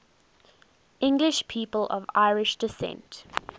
english people of irish descent